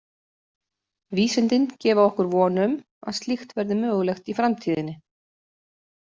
Vísindin gefa okkur von um að slíkt verði mögulegt í framtíðinni.